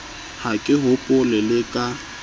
ha ke hopole le ka